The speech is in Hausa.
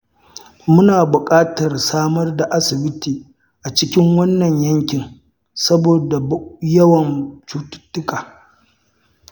Muna buƙatar samar da asibiti a cikin wannan yankin saboda yawan cututtuka.